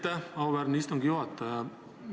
Aitäh, auväärne istungi juhataja!